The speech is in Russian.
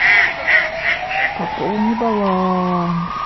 пополни баланс